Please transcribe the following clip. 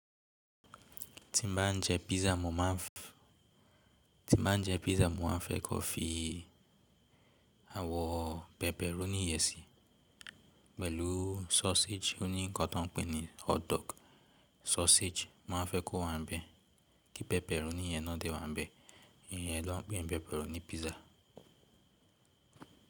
Tí mo bá ń jẹ pizza, mo ma ń fẹ́ kó fi awọ pepper oni iyẹ sí pẹ̀lú sausage oni ǹkan tó ń pè ní hotdog sausage. Mo ma ń fẹ́ kó wà nbe, kí pepperoni yẹn náà de wà nbe. Ìyẹn ló ń pè ní pepperoni pizza.